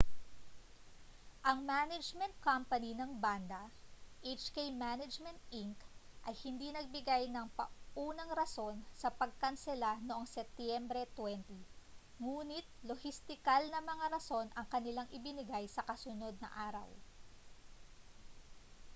ang management company ng banda hk management inc ay hindi nagbigay ng paunang rason sa pagkansela noong setyembre 20 ngunit lohistikal na mga rason ang kanilang ibinigay sa kasunod na araw